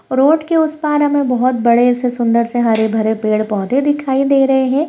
Road के उस पार हमें बहुत बड़े से सुन्दर से हरे भरे पौधे दिखाई दे रहें हैं।